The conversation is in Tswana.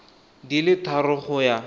di le tharo go ya